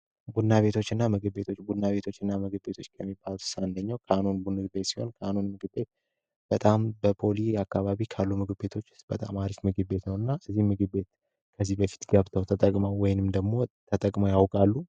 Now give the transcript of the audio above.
እኛ ቤቶችና ምግብ ቤቶች ቡና ቤቶችና ምግብ ቤቶች ከምንላቸው ውስጥ አንደኛው ካኖን ሲሆን ካኖ ንግድ ቤት በጣም ከፖሊ አካባቢ ከሚገኙ ቤቶች ውስጥ በጣም አሪፉ ምግብ ቤት ነው እና ከዚህ በፊት ገብተው ተጠቅመው ወይም ደግሞ ተጠቅመው ያውቃሉ?